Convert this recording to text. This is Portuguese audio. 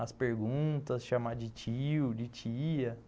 as perguntas, chamar de tio, de tia, né?